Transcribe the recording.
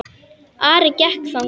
Ari gekk þangað.